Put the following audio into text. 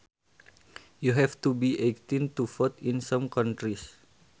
You have to be eighteen to vote in some countries